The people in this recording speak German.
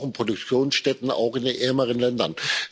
Denn wir brauchen Produktionsstätten, auch in den ärmeren Ländern.